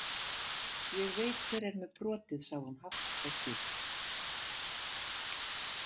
Ég veit hver er með brotið, sagði hún hátt og skýrt.